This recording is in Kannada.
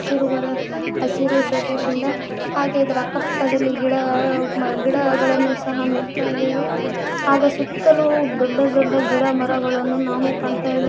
ತಿರುಬರ ಹಸಿರು ಶೊಕೆಶ್ ಇಂದ ಹಾಗೆ ಇದರ ಅಕ್ಕ ಪಕ್ಕದಲ್ಲಿ ಗಿಡ ಅ ಗಿಡಗಳನ್ನು ಸಹ ನೋಡ್ತಾಇದಾವೆ ಹಾಗ ಸುತ್ತಲೂ ದೊಡ್ಡ ದೊಡ್ಡ ಗಿಡ ಮರಗಳನ್ನು ನಾವು ಕಾಣ್ತಾಇದೆ.